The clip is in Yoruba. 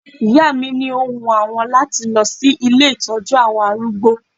Ìyá mi ni ó wun àwọn láti lọ sí ilé ìtọ́jú àwọn arúgbó